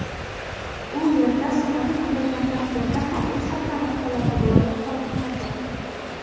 u yerda samolyot qulagan taqdirda ham u saqlanib qoladi – viloyat hokimiyati.